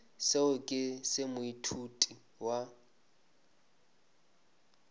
seo ke se moithuti wa